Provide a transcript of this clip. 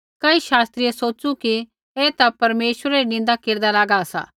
कई शास्त्रियै सोच़ू कि ऐ ता परमेश्वरै री निन्दा केरदा लागा सा